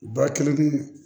Ba kelen